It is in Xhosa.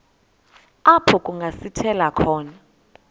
apho kungasithela khona